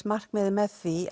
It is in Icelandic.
markmiðið með því